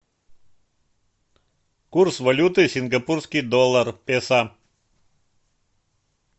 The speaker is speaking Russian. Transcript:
курс валюты сингапурский доллар песо